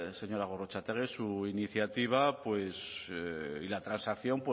señora gorrotxategi su iniciativa y la transacción